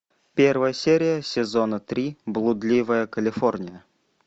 первая серия сезона три блудливая калифорния